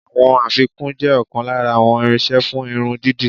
Àwọn afikún jẹ́ ọ̀kan lára àwọn irinṣẹ́ fún irun dídì.